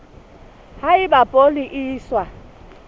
ha eba poone e iswa